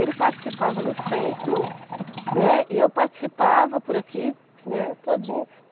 Ele participava no centro, né, e eu participava por aqui, né, todinha.